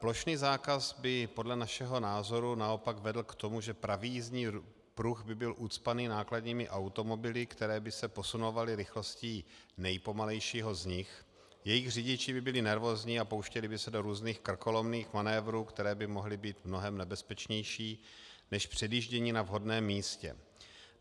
Plošný zákaz by podle našeho názoru naopak vedl k tomu, že pravý jízdní pruh by byl ucpaný nákladními automobily, které by se posunovaly rychlostí nejpomalejšího z nich, jejich řidiči by byli nervózní a pouštěli by se do různých krkolomných manévrů, které by mohly být mnohem nebezpečnější než předjíždění na vhodném místě.